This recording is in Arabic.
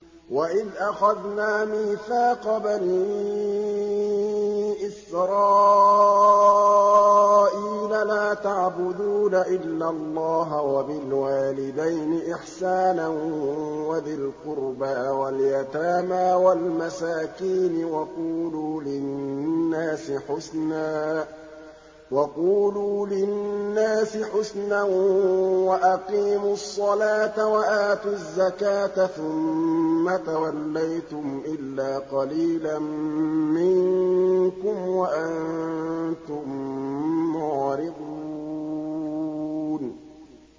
وَإِذْ أَخَذْنَا مِيثَاقَ بَنِي إِسْرَائِيلَ لَا تَعْبُدُونَ إِلَّا اللَّهَ وَبِالْوَالِدَيْنِ إِحْسَانًا وَذِي الْقُرْبَىٰ وَالْيَتَامَىٰ وَالْمَسَاكِينِ وَقُولُوا لِلنَّاسِ حُسْنًا وَأَقِيمُوا الصَّلَاةَ وَآتُوا الزَّكَاةَ ثُمَّ تَوَلَّيْتُمْ إِلَّا قَلِيلًا مِّنكُمْ وَأَنتُم مُّعْرِضُونَ